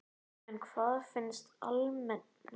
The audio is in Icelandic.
En hvað finnst almenningi?